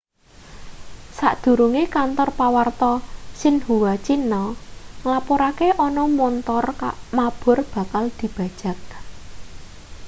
sadurunge kantor pawarta xinhua cina nglapurake ana montor mabur bakal dibajag